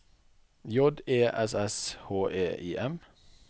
J E S S H E I M